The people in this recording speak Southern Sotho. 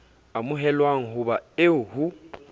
amohelwang ho ba eo ho